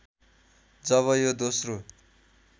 जब यो दोस्रो